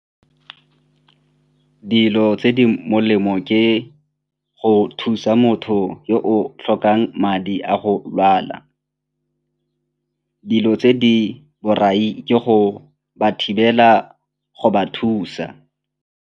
Dilo tse di molemo ke go thusa motho yo o tlhokang madi a go lwala, dilo tse di borai ke go ba thibela go ba thusa.